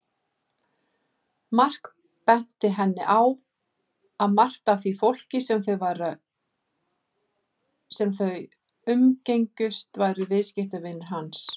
Mark benti henni á að margt af því fólki sem þau umgengjust væru viðskiptavinir hans.